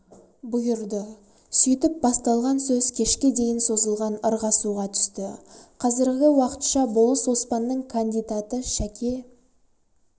бұйырды сөйтіп басталған сөз кешке дейін созылған ырғасуға түсті қазіргі уақытша болыс оспанның кандидаты шәке